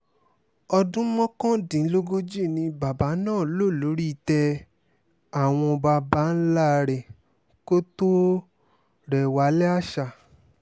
ọdún mọ́kàndínlógójì ni bàbá náà lò lórí ìtẹ́ àwọn baba ńlá rẹ̀ kó tóó rẹ̀wálé àṣà